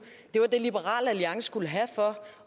var det liberal alliance skulle have for